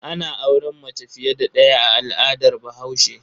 Ana auren mace fiye da ɗaya a al'adar Bahaushe.